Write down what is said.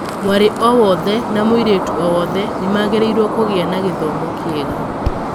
Mwarĩ o wothe na mũirĩtu o wothe nĩ magĩrĩirũo kũgĩa na gĩthomo kĩega.